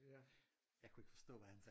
Jeg kunne ikke forstå hvad han sagde